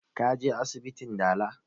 Ka je asibitin dala?